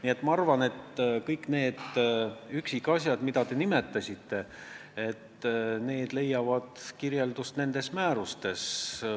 Nii et ma arvan, et kõik need üksikasjad, mida te nimetasite, leiavad kirjeldust nendes määrustes.